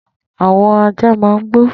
Àwọn àjá mà n gbó